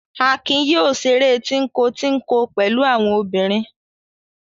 Akin yoo ṣeré tínko-tínko pẹ̀lú àwọn obìnrin.